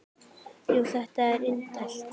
Jú, þetta er indælt